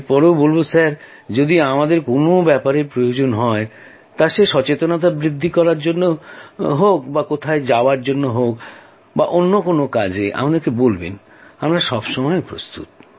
এর পরেও বলব মহাশয় যদি আমাদেরকে কোন ব্যাপারে প্রয়োজন হয় তা সে সচেতনতা বৃদ্ধি করার জন্য কোথাও যাওয়াই হোক বা অন্য কোন কাজে আমাদেরকে বলবেন আমরা সব সময়ই প্রস্তুত